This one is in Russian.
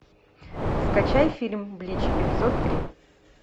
скачай фильм блич эпизод три